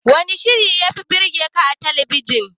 Wanne shirin da yafi burgeka a talabijin?